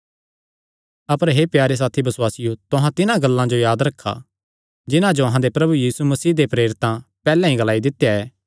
अपर हे प्यारे साथियो बसुआसियो तुहां तिन्हां गल्लां जो याद रखा जिन्हां जो अहां दे प्रभु यीशु मसीह दे प्रेरितां पैहल्ले ई ग्लाई दित्या ऐ